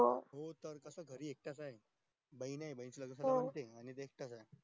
तो कसा घरी एकटा च ये बहिण ये आहे बहीण नाही त एकटा च ये